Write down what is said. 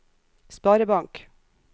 sparebank